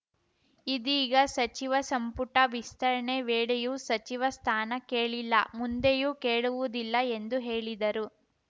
ಇದೀಗ ಸಚಿವ ಸಂಪುಟ ವಿಸ್ತರಣೆ ವೇಳೆಯೂ ಸಚಿವ ಸ್ಥಾನ ಕೇಳಿಲ್ಲ ಮುಂದೆಯೂ ಕೇಳುವುದಿಲ್ಲ ಎಂದು ಹೇಳಿದರು